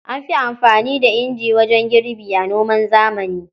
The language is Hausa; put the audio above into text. An fi anfani da inji wajen girbi a noman zamani.